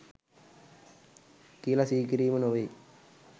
කියල සිහි කිරීම නෙවෙයි.